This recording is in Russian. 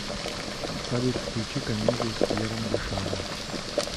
салют включи комедию с пьером ришаром